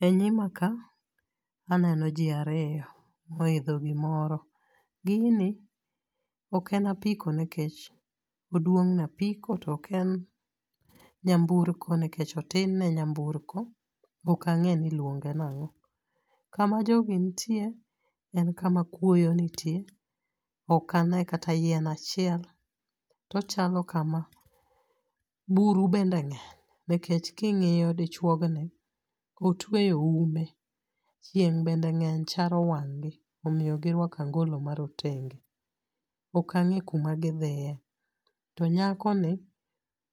E nyimaka aneno ji ariyo, moidho gimoro. Gini oken apiko nekech oduong' ne apiko, to oken nyamburko nikech otin ne nyamburko. Okang'e ni iluonge nang'o. Kama jogi ntie, en kama kuoyo nitie, okane kata yien achiel. To chalo kama buru bende ng'eng', nikech king'iyo dichuogni, otueyo ume. Chieng' bende ng'eny charo wang' gi, omiyo giruako angolo marotenge. Okang'e kuma gidhiye. To nyakoni,